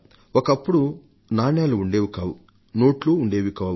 ఒకప్పుడు నాణేలు ఉండేవి కావు నోట్లు ఉండేవి కావు